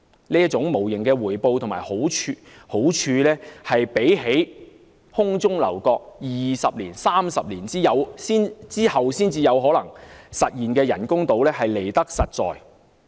這種無形的回報和好處，比起空中樓閣、要在20年或30年後才可能實現的人工島來得實在。